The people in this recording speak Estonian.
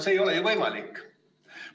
See ei ole ju võimalik.